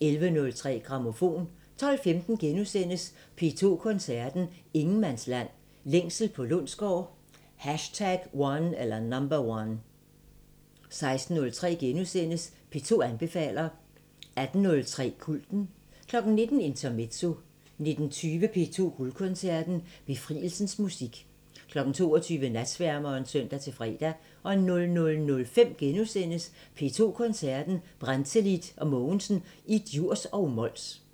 11:03: Grammofon 12:15: P2 Koncerten – Ingenmandsland – Længsel på Lundsgaard #1 * 16:03: P2 anbefaler * 18:03: Kulten 19:00: Intermezzo 19:20: P2 Guldkoncerten – Befrielsens musik 22:00: Natsværmeren (søn-fre) 00:05: P2 Koncerten – Brantelid & Mogensen i Djurs og Mols *